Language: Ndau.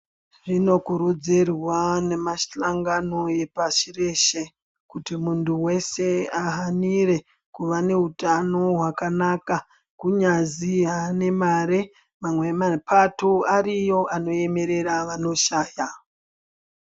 Zvinokurudzirwa nemashangani epashi reshe kuti muntu weshe ahanire kuvaneutano hwakanaka kuti kunyazwi haane mare mamwe mapato ariyo anoemerera vanoshaya.